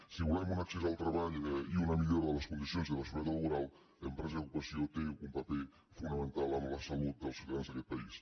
si volem un accés al treball i una millora de les condicions i de la seguretat laboral empresa i ocupa·ció té un paper fonamental en la salut dels ciutadans d’aquest país